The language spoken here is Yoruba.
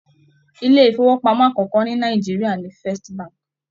Ilé ifowopamọ akọkọ ni Nàìjíríà ní Firstbank.